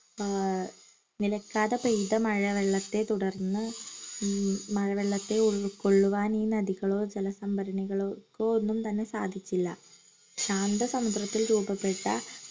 ആഹ് നിലക്കാതെ പെയ്ത മഴവെള്ളത്തെ തുടർന്ന് മ് മഴവെള്ളത്തെ ഉൾക്കൊള്ളുവാൻ ഈ നദികളോ ജലസംഭരണികളോ ക്കോ ഒന്നുംതന്നെ സാധിച്ചില്ല ശാന്ത സമുദ്രത്തിൽ രൂപപ്പെട്ട